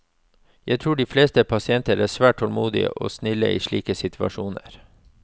Jeg tror de fleste pasienter er svært tålmodige og snille i slike situasjoner.